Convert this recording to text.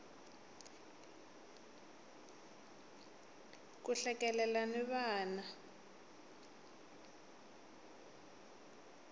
ku hlekelela na vana